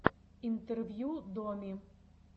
интервью доми